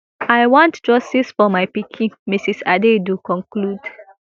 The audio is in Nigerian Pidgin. i want justice for my pikin mrs adaidu conclude